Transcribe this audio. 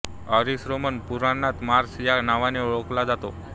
Eris Roman पुराणांत Mars या नावाने ओळखला जातो